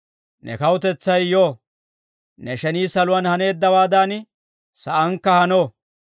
Ne Kawutetsay yo; ne shenii saluwaan haneeddawaadan, saankka hano.